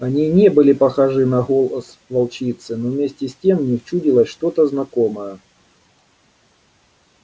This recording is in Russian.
они не были похожи на голос волчицы но вместе с тем в них чудилось что то знакомое